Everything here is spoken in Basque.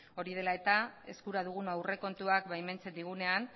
hori dela eta eskura dugun aurrekontuak baimentzen digunean